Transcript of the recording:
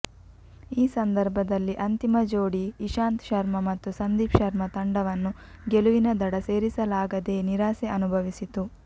ಈ ಸಂದರ್ಭದಲ್ಲಿ ಅಂತಿಮ ಜೋಡಿ ಇಶಾಂತ್ ಶರ್ಮಾ ಮತ್ತು ಸಂದಿಪ್ ಶರ್ಮಾ ತಂಡವನ್ನು ಗೆಲುವಿನ ದಡ ಸೇರಿಸಲಾಗದೇ ನಿರಾಸೆ ಅನುಭವಿಸಿತು